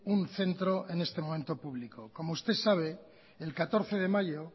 un centro en este momento público como usted sabe el catorce de mayo